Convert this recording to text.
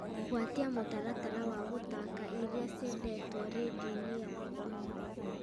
gwatia mũtaratara wa gũthaaka iria ciendetwo rĩndiũ-inĩ yakwa